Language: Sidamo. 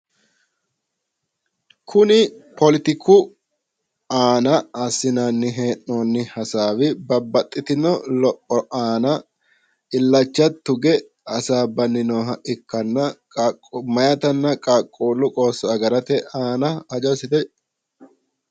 kuni poletiku aana assinanni hee'noonni hasaawi babbaxxitino lopho aana illacha tugge hasaabbanni nooha ikkanna meyaatannna qaaquullu qoosso agarate aana hajo assite.